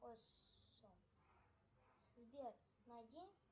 сбер найди